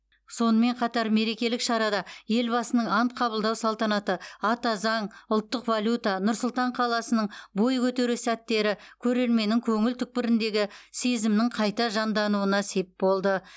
сонымен қатар мерекелік шарада елбасының ант қабылдау салтанаты ата заң ұлттық валюта нұр сұлтан қаласының бой көтеру сәттері көрерменнің көңіл түкпіріндегі сезімнің қайта жандануына сеп болды